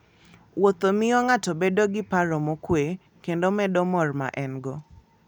Wuotho miyo ng'ato bedo gi paro mokuwe kendo medo mor ma en-go.